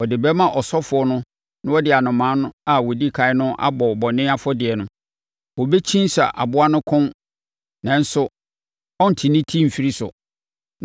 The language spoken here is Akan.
Ɔde bɛma ɔsɔfoɔ no na ɔde anomaa a ɔdi ɛkan no abɔ bɔne afɔdeɛ no. Ɔbɛkyinsa aboa no kɔn nanso ɔrente ne ti mfiri so,